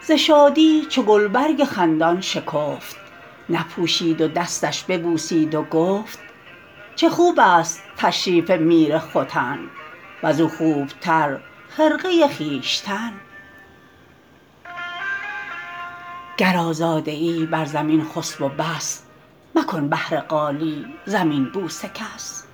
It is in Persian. ز شادی چو گلبرگ خندان شکفت نپوشید و دستش ببوسید و گفت چه خوب است تشریف میر ختن وز او خوب تر خرقه خویشتن گر آزاده ای بر زمین خسب و بس مکن بهر قالی زمین بوس کس